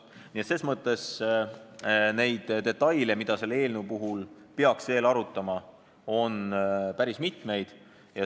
Nii et neid detaile, mida peaks veel arutama, on päris mitmeid.